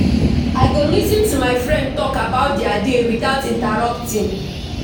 I go lis ten to my friend talk about dia day without interrupting.